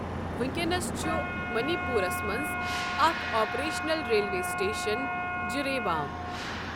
وونٛکینَس چھُ منی پوٗرس منٛز اکھ آپریشنل ریلوے سٹیشن جِریبام۔